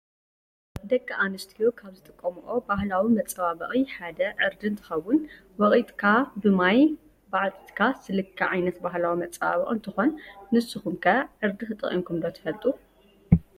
ደቂ አንስትዮ ካብ ዝጥቀሞኦ ባሀላዊ መፀባበቂ ሓደ ዕርዲ እንትከውን ወቂጥካ ብማይ ብዓጢጥካ ዝልከ ዓይነት ባህላዊ መፀበቂ እንትኮን ንስኩም ከ ዕርዲ ተጠቂሙኩም ዶ ትፈሉጡ?